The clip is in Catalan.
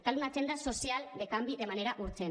cal una agenda social de canvi de manera urgent